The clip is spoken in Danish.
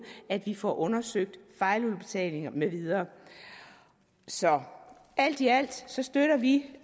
at vi får undersøgt fejludbetalinger med videre så alt i alt støtter vi